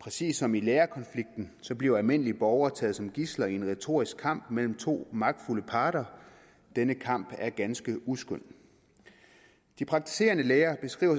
præcis som i lærerkonflikten bliver almindelige borgere taget som gidsler i en retorisk kamp mellem to magtfulde parter denne kamp er ganske uskøn de praktiserende læger beskriver